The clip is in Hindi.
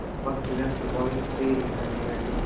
भक्तगण प्रभावित हुए बिना नहीं रहते